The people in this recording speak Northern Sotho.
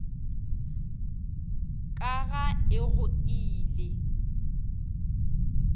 ka ga e go ile